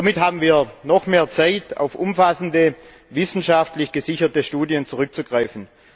Somit haben wir noch mehr Zeit, auf umfassende, wissenschaftlich gesicherte Studien zurückzugreifen.